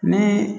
Ni